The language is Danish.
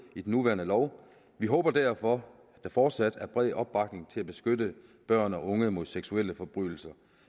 i den nuværende lov vi håber derfor at der fortsat er bred opbakning til at beskytte børn og unge mod seksuelle forbrydelser